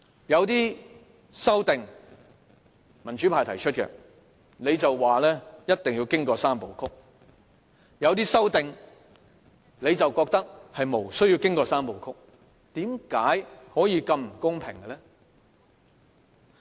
有些由民主派提出的修訂，你表示一定要經過"三部曲"，有些修訂你卻認為不需要經過"三部曲"，為甚麼可以這麼不公平？